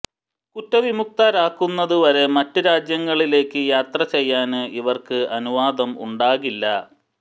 കുറ്റവിമുക്തരാകുന്നത് വരെ മറ്റ് രാജ്യങ്ങളിലേക്ക് യാത്ര ചെയ്യാന് ഇവര്ക്ക് അനുവാദം ഉണ്ടാകില്ല